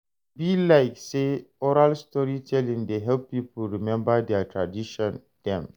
E be like sey oral storytelling dey help pipo rememba their tradition dem.